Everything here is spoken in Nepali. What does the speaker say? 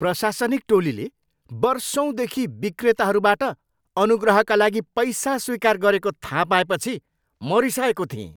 प्रशासनिक टोलीले वर्षौँदेखि विक्रेताहरूबाट अनुग्रहका लागि पैसा स्वीकार गरेको थाहा पाएपछि म रिसाएको थिएँ।